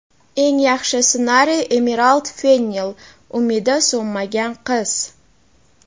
Eng yaxshi ssenariy – Emirald Fennel ("Umidi so‘nmagan qiz");.